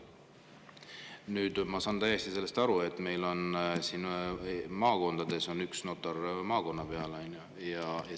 Nüüd, ma saan täiesti aru, et meil on mõnes maakonnas üks notar maakonna peale.